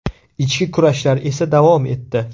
Ichki kurashlar esa davom etdi.